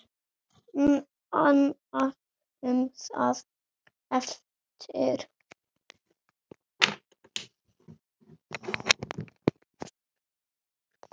Nánar um það á eftir.